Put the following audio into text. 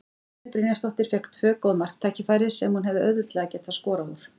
Dagný Brynjarsdóttir fékk tvö góð marktækifæri sem hún hefði auðveldlega getað skorað úr.